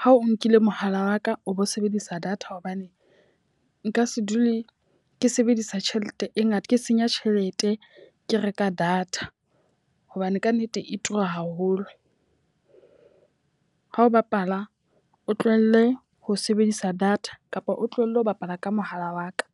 ha o nkile mohala wa ka o bo sebedisa data hobane nka se dule ke sebedisa tjhelete e ngata, ke senya tjhelete ke reka data. Hobane ka nnete e tura haholo. O ha o bapala, o tlohelle ho sebedisa data kapa o tlohelle ho bapala ka mohala wa ka.